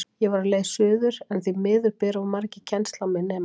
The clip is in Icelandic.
Ég var á leið suður, en því miður bera of margir kennsl á mig, nema